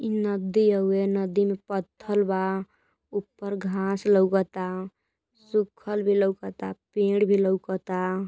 ई नदी हउवे। नदी में पथ्थल बा। ऊपर घाँस लौकता। सुखल भी लौकता। पेड़ भी लौकता।